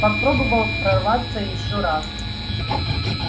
попробовал прорваться ещё раз